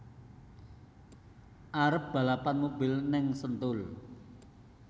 Arep balapan mobil ning Sentul